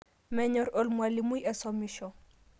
Menyor elemwalimoi asomisho